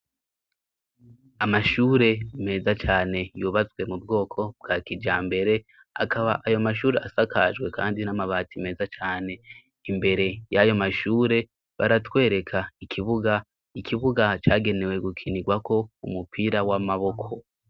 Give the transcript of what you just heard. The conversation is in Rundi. Amashure meza cane yubatswe mu bwoko bwa kijambere ,akaba ayo mashuri asakajwe kandi n'amabati meza cane. Imbere y'ayo mashure baratwereka ikibuga, ikibuga cagenewe gukinirwako umupira w'amaboko.